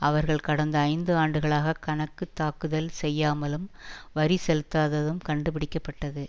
அவர்கள் கடந்த ஐந்து ஆண்டுகளாக கணக்கு தாக்குதல் செய்யமாலும் வரி செலுத்தாததும் கண்டுபிடிக்க பட்டது